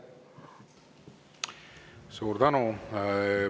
Suur tänu!